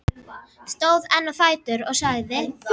Stóð enn á fætur og sagði: